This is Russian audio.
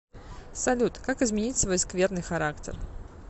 салют как изменить свой скверный характер